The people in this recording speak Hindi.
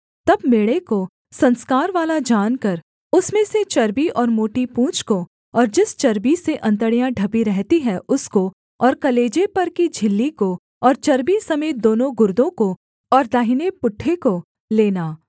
तब मेढ़े को संस्कारवाला जानकर उसमें से चर्बी और मोटी पूँछ को और जिस चर्बी से अंतड़ियाँ ढपी रहती हैं उसको और कलेजे पर की झिल्ली को और चर्बी समेत दोनों गुर्दों को और दाहिने पुट्ठे को लेना